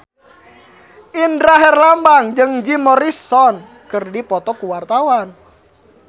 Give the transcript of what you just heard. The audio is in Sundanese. Indra Herlambang jeung Jim Morrison keur dipoto ku wartawan